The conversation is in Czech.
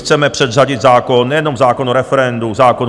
Chceme předřadit zákon - nejenom zákon o referendu, zákon